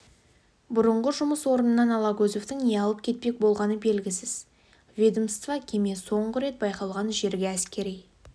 бұрынғы жұмыс орнынан алагөзовтың не алып кетпек болғаны белгісіз ведомство кеме соңғы рет байқалған жерге әскери